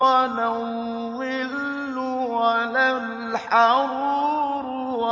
وَلَا الظِّلُّ وَلَا الْحَرُورُ